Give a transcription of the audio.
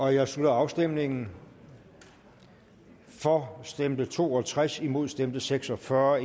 jeg slutter afstemningen for stemte to og tres imod stemte seks og fyrre